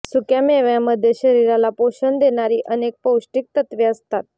सुक्या मेव्यामध्ये शरीराला पोषण देणारी अनेक पौष्टिक तत्वे असतात